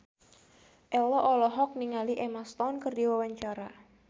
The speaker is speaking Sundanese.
Ello olohok ningali Emma Stone keur diwawancara